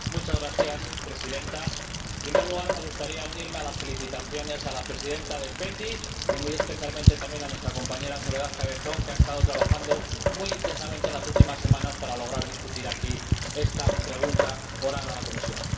Señora Presidenta, en primer lugar, me gustaría unirme a las felicitaciones a la presidenta de la Comisión de Peticiones y felicitar muy especialmente también a nuestra compañera Soledad Cabezón, que ha estado trabajando muy intensamente en las últimas semanas para lograr debatir aquí esta pregunta oral a la Comisión.